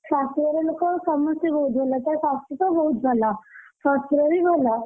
ଶାଶୁଘର ଲୋକ ସମସ୍ତେ ବହୁତ ଭଲ। ତା ଶାଶୁ ତ ବହୁତ ଭଲ, ଶଶୁର ବି ଭଲ।